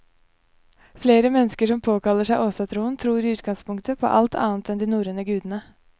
Flere mennesker som påkaller seg åsatroen tror i utgangspunktet på alt annet enn de norrøne gudene.